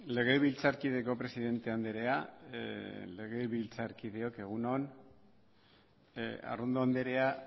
legebiltzarkideko presidente andrea legebiltzarkideok egun on arrondo andrea